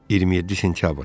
27 sentyabr.